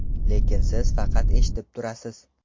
Lekin siz faqat eshitib turasiz.